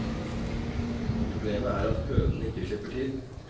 Problemet er at hønene ikke slipper til.